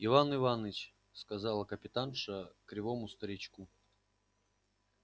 иван иванович сказала капитанша кривому старичку